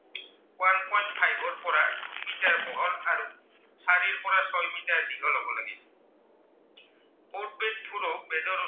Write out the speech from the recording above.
ফুলো বীজৰো